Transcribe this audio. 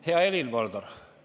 Hea Helir-Valdor!